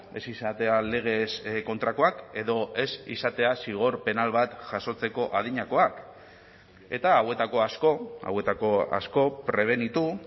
ez izatea legez kontrakoak edo ez izatea zigor penal bat jasotzeko adinakoak eta hauetako asko hauetako asko prebenitu